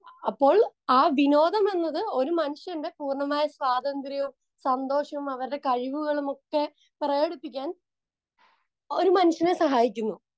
Speaker 2 അപ്പോൾ ആ വിനോദം എന്നത് ഒരു മനുഷ്യന്റെ പൂർണ്ണമായ സ്വാതന്ത്ര്യവും സന്തോഷവും അവരുടെ കഴിവുകളും ഒക്കെ പ്രകടിപ്പിക്കാൻ ഒരു മനുഷ്യനെ സഹായിക്കുന്നു.